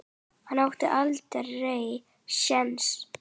Hann átti aldrei séns.